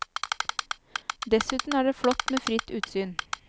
Dessuten er det flott med fritt utsyn.